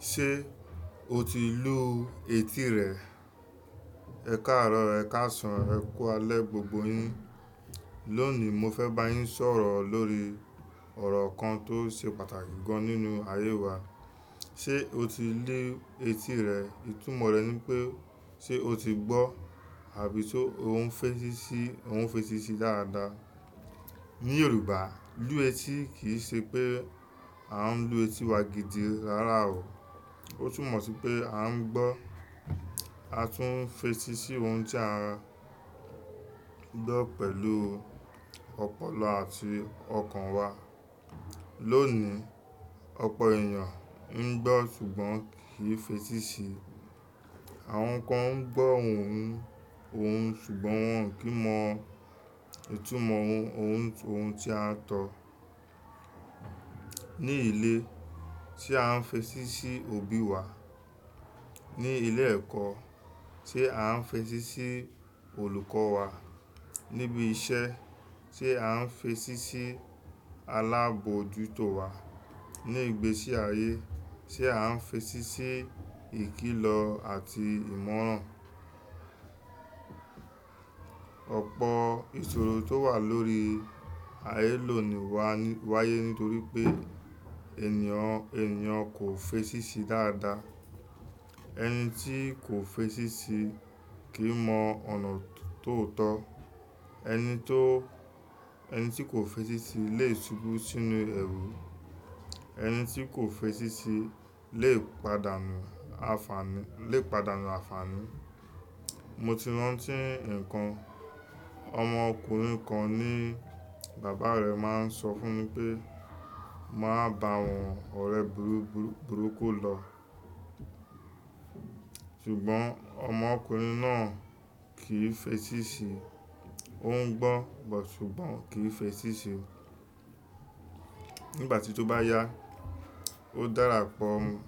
Ṣé o ti lú etí rẹ? Ẹ káàárọ̀, Ẹ káàsán, ẹ kú alẹ́ gbogbo yín. Lónìí mo fẹ́ bá yín sọ̀rọ̀ lórí ọ̀rọ̀ kan tó ṣe pàtàkì gan nínú ayé wa. Ṣé o ti lu etí rẹ? Ìtumọ̀ rẹ̀ ni pé ṣé o ti gbọ́ àbí ṣé o ń fetí sí, o ń fetí sí dáadáa. Ní Yorùbá lú etí kì í ṣe pé a ń lu etí wa gidi rárá o. Ó tún mọ̀ sí pé a ń gbọ́, a tún ń fetí sí ohun tí a gbọ́ pẹ̀lú ọpọlọ àti ọkàn wa. Lónìí, ọ̀pọ̀ èèyàn ń gbọ́ ṣùgbọ́n kì í fetí sí i. Àwọn kan ń gbọ́ ohùn, ohùn ṣùgbọ́n wọ́n kì í mọ ìtumọ̀ ohùn, ohun tí a ń sọ. Ní ilé tí a ń fetí sí òbí wa. Ní ilé ẹ̀kọ́ tí a ń fetí sí olùkọ́ wa. Níbi iṣẹ́ ṣé a ń fetí sí alábojútó wa. Ní ìgbésí ayé ṣé a ń fetí sí ìkìlọ̀ àti ìmọ̀ràn. Ọ̀pọ̀ ìṣòro tó wà lórí ayé lónìí wá, wáyé nítorí pé ènìyàn, ènìyàn kò fetí sí dáadáa. Ẹni tí kò fetí sì kì í mọ ọ̀nà tó tọ́. Ẹni tó, ẹni tí kò fetí sì lè ṣubú sínú ẹrù. Ẹni tí kò fetí sì lè pàdánù àfààní, lè pàdánù àfààní. Mo ti rántí nǹkan. Ọmọ ọkùnrin kan ní bàbá rẹ̀ máa ń sọ fún un pé "Máa bá àwọn ọ̀rẹ́ burúkú lọ". Ṣùgbọ́n ọmọkùnrin náà kì í fetí sì. Ó ń gbọ́ but ṣùgbọ́n kò fetí sì. Nígbà tí ó bá yá, ó dara pọ̀ mọ́,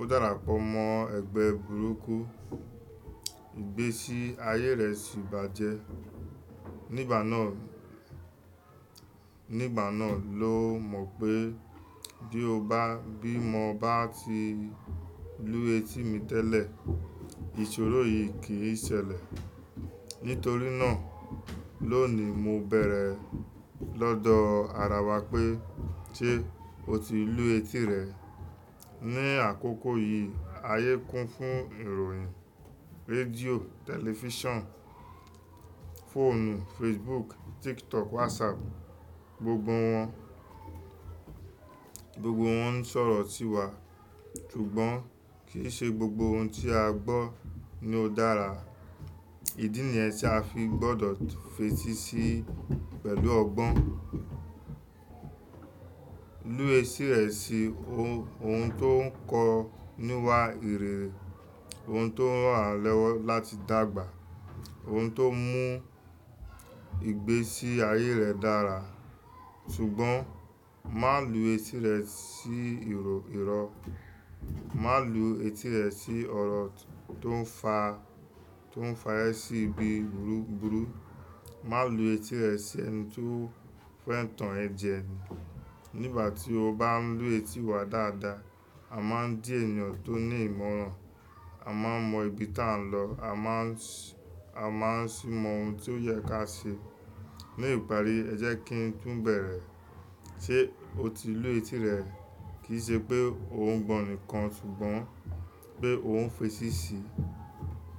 ó dara pọ̀ mọ́ ẹgbẹ́ burúkú. Ìgbésí ayé rẹ̀ sì bàjẹ́. Nígbà náà, nígbà náà ló mọ̀ pé bí ó bá, bí mo bá ti lú etí mi tẹ́lẹ̀, ìṣòro yìí kì í ṣẹlẹ̀. Nítorí náà lónìí mo bẹ̀rẹ̀ lọ́dọ̀ ara wa pé ṣé o ti lú etí rẹ? Ni àkókò yìí ayé kún fún ìròyìn, rédíò, tẹlifíṣàn, fóònù, Facebook, TikTok, WhatsApp, gbogbo wọn. Gbogbo wọn ń sọ̀rọ̀ tí wa ṣùgbọ́n kì í ṣe gbogbo ohun tí a gbọ́ ni ó dára. Ídí nìyẹn tí a fi gbọdọ̀ fetí sí pẹ̀lú ọgbọ́n. Lu etí rẹ sí ohun tó ń kọ́ níwà ìrẹ̀, ohun tó ràn wá lọwọ́ láti dàgbà, ohun tó mú ìgbésí ayé rẹ dára. Ṣùgbọ́n má lu etí rẹ sí ìrò, ìrọ́. Má lu etí rẹ sí ọ̀rọ̀ tó ń fa, tó ń fa ẹ sí ibi burúkú. Má lu etí rẹ sí ẹni tó fẹ́ ń tan ẹ jẹ ni. Nígbà tí o bá ń lú etí wa dáadáa, a máa ń di ènìyàn tó ní ìmọ̀ràn, a máa ń mọ ibi tí à ń lọ, a máa ń ṣí, a máa ń ṣì mọ ohun tí ó yẹ ká ṣe. Ní ìparí ẹ jẹ́ kí n tún bẹ̀rẹ̀, ṣé o ti lú etí rẹ? Kì í ṣe pé ó ń gbọ́ nìkan ṣùgbọ́n pé ó ń fetí sì.